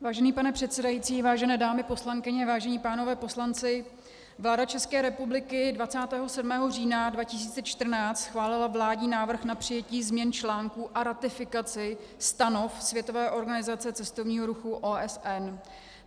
Vážený pane předsedající, vážené dámy poslankyně, vážení pánové poslanci, vláda České republiky 27. října 2014 schválila vládní návrh na přijetí změn článků a ratifikaci Stanov Světové organizace cestovního ruchu OSN.